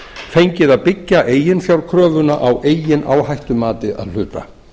fengið að byggja eiginfjárkröfuna á eigin áhættumati að hluta